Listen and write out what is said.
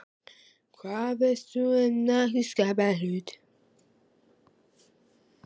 Hvað veist þú um nokkurn skapaðan hlut!?